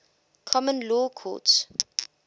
common law courts